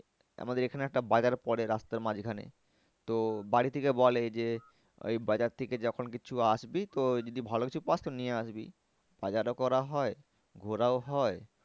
আমাদের এখানে একটা বাজার পরে রাস্তার মাঝখানে তো বাড়ি থেকে বলে যে ওই বাজার থেকে যখন কিছু আসবি তো যদি ভালো কিছু পাস তো নিয়ে আসবি বাজারও করা হয় ঘোরাও হয়।